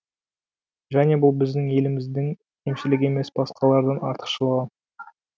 және бұл біздің еліміздің кемшілігі емес басқалардан артықшылығы